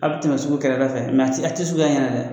A bi tɛmɛ sugu kɛrɛda fɛ a ti a ti sugu y'a ɲɛna dɛ.